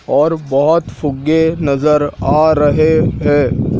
और बहोत फुग्गे नजर आ रहे हैं।